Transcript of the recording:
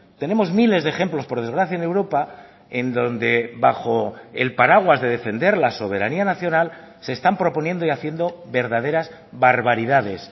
tenemos miles de ejemplos por desgracia en europa en donde bajo el paraguas de defender la soberanía nacional se están proponiendo y haciendo verdaderas barbaridades